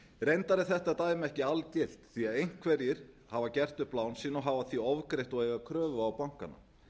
reyndar er þetta dæmi ekki algilt því einhverjir hafa gert upp lán sín og eiga því kröfu á bankana